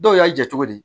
Dɔw y'a jate di